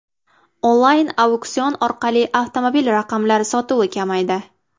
Onlayn auksion orqali avtomobil raqamlari sotuvi kamaydi.